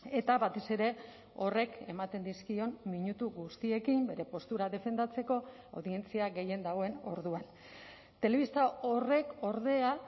eta batez ere horrek ematen dizkion minutu guztiekin bere postura defendatzeko audientzia gehien dagoen orduan telebista horrek ordea